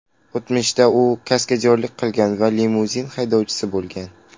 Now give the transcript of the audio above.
O‘tmishida u kaskadyorlik qilgan va limuzin haydovchisi bo‘lgan.